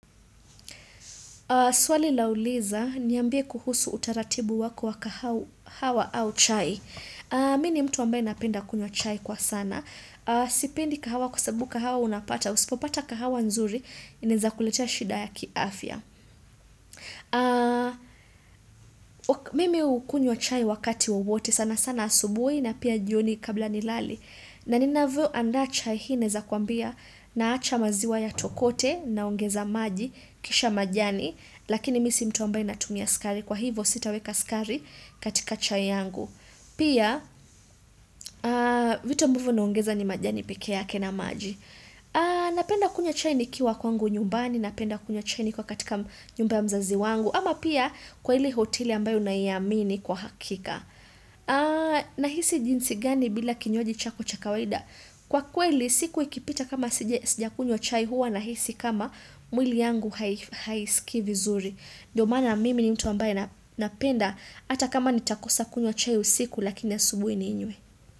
Swali lauliza, niambie kuhusu utaratibu wako wa kahawa au chai. Mini mtu ambaye napenda kunywa chai kwa sana. Sipendi kahawa kwa sababu, kahawa unapata. Usipopata kahawa nzuri, inaeza kuletea shida ya kiafya. Mimi ukunywa chai wakati wowote sana sana asubui na pia jioni kabla nilali. Na nina vio andaa chai hii naezakwambia na acha maziwa ya tokote naongeza maji, kisha majani. Lakini misi mtu ambaye natumia skari kwa hivo sitaweka skari katika chai yangu Pia vitu ambavo naongeza ni majani peke ya ke na maji Napenda kunywa chai ni kiwa kwangu nyumbani Napenda kunywa chai ni kiwa katika nyumba ya mzazi wangu ama pia kwa hile hoteli ambayo naiamini kwa hakika Nahisi jinsi gani bila kinywaji chako cha ka waida Kwa kweli siku ikipita kama sijakunywa chai huwa Nahisi kama mwili yangu haisikii vizuri Ndiyo maana mimi ni mtu ambaye napenda hata kama nitakosa kunywa chai usiku lakini asubui ninywe.